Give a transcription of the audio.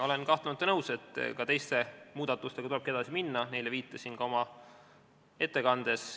Olen kahtlemata nõus, et ka teiste muudatustega tuleb edasi minna, neile viitasin ka oma ettekandes.